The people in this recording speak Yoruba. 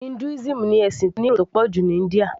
Hinduism ni ẹ̀sìn tó ní èrò tó pọ̀ jù ní India